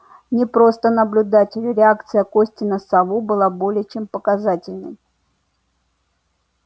не просто наблюдатель реакция кости на сову была более чем показательной